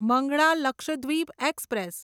Mangala Lakshadweep express